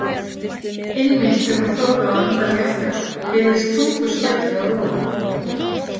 Einmitt þegar hún þorði að anda léttar heyrðist þungur skellur að ofan.